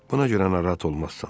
Buna görə narahat olmazsan.